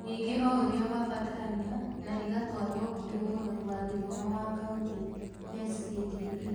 Ningĩ o ũrĩa kwabatarania na igatwarũo kũrĩ Mũrori wa Gĩthomo wa Kauntĩ (SCDE).